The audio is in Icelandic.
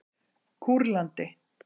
Kúrlandi